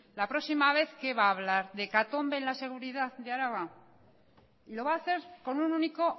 la próxima vez de qué va a hablar de hecatombe en la seguridad de araba y lo va a hacer con un único